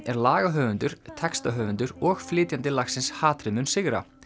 er lagahöfundur textahöfundur og flytjandi lagsins hatrið mun sigra